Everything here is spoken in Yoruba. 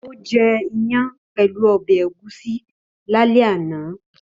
Ó jẹ́ ìyàn pẹ̀lú ọbẹ̀ ẹ̀gúsí lálẹ́ àná